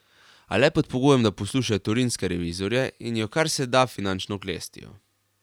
A le pod pogojem, da poslušajo torinske revizorje in jo kar se da finančno oklestijo.